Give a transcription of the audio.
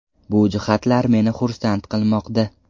Bu jihatlar meni xursand qilmoqda.